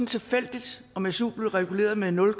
tilfældigt om su blev reguleret med nul